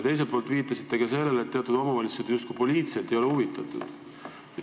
Teiselt poolt viitasite ka sellele, et teatud omavalitsused justkui poliitiliselt ei ole asjast huvitatud.